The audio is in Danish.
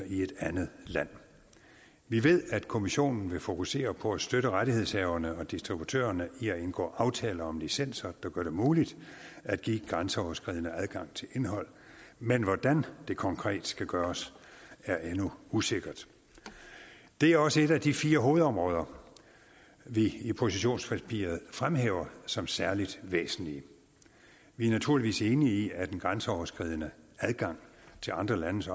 i et andet land vi ved at kommissionen vil fokusere på at støtte rettighedshaverne og distributørerne i at indgå aftaler om licenser der gør det muligt at give grænseoverskridende adgang til indhold men hvordan det konkret skal gøres er endnu usikkert det er også et af de fire hovedområder vi i positionspapiret fremhæver som særlig væsentlige vi er naturligvis enige i at den grænseoverskridende adgang til andre landes